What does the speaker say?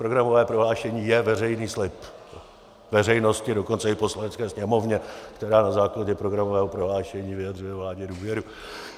Programové prohlášení je veřejný slib veřejnosti, dokonce i Poslanecké sněmovně, která na základě programového prohlášení vyjadřuje vládě důvěru.